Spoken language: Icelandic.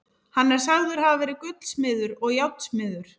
Hann er sagður hafa verið gullsmiður og járnsmiður.